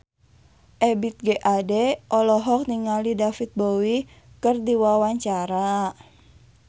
Ebith G. Ade olohok ningali David Bowie keur diwawancara